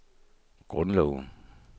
grundloven